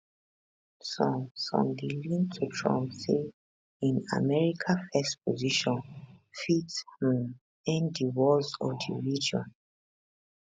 some some dey lean to trump say im america first position fit um end di wars for di region